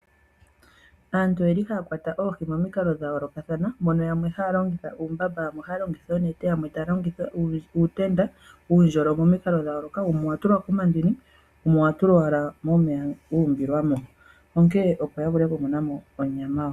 Aantu oyeli haya kwata oohi momikalo dhayoolokathana mono aantu yamwe haya longitha uumbamba yamwe ohaya longitha oonete, uutenda nuundjolo momikalo dhayooloka wumwe owatulwa komandini wumwe owatulwa owala momeya wuumbilwamo opo yavule okumonamo onyama.